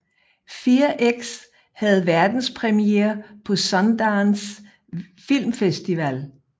Fear X havde verdenspremiere på Sundance Film Festival